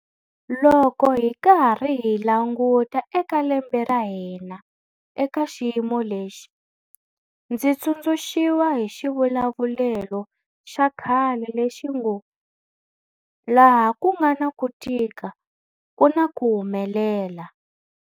Loko hi karhi hi languta eka lembe ra hina eka xiyimo lexi, ndzi tsundzuxiwa hi xivulavulelo xa khale lexi ngo, 'laha ku nga na ku tika ku na ku humelela'.